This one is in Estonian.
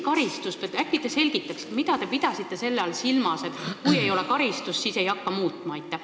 Äkki te selgitate, mida te pidasite silmas selle all, et kui ei ole karistust, siis ei hakkagi muutma?